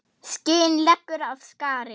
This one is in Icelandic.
Skin leggur af skari.